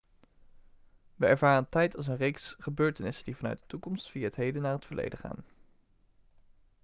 we ervaren tijd als een reeks gebeurtenissen die vanuit de toekomst via het heden naar het verleden gaan